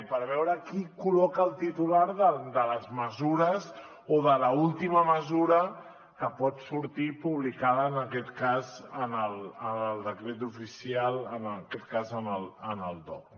per veure qui col·loca el titular de les mesures o de l’última mesura que pot sortir publicada en aquest cas en el decret oficial en aquest cas al dogc